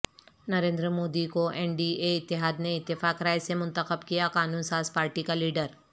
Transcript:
Narendra Modi کواین D A اتحاد نےاتفاق رائے سے منتخب کیا قانون ساز پارٹی کا لیڈر